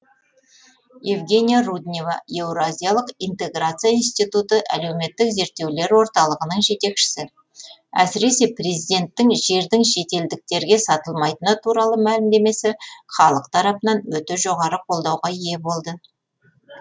евгения руднева еуразиялық интеграция институты әлеуметтік зерттеулер орталығының жетекшісі әсіресе президенттің жердің шетелдіктерге сатылмайтыны туралы мәлімдемесі халық тарапынан өте жоғары қолдауға ие болды